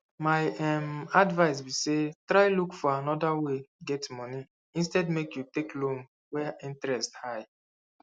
my um advice be say try look for another way get money instead make you take loan wey interest high